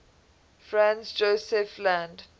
franz josef land